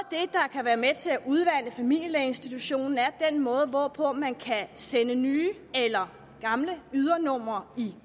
kan være med til at udvande familielægeinstitutionen er den måde hvorpå man kan sende nye eller gamle ydernumre i